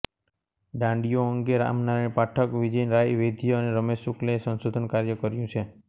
ડાંડિયો અંગે રામનારાયણ પાઠક વિજયરાય વૈદ્ય અને રમેશ શુક્લએ સંશોધન કાર્ય કર્યું છે